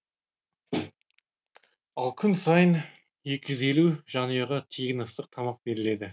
ал күн сайын екі жүз елу жанұяға тегін ыстық тамақ беріледі